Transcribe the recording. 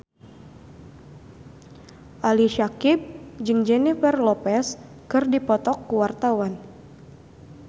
Ali Syakieb jeung Jennifer Lopez keur dipoto ku wartawan